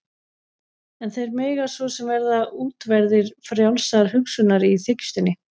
En þeir mega svo sem vera útverðir frjálsrar hugsunar- í þykjustunni.